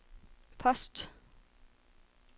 post